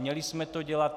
Měli jsme to dělat.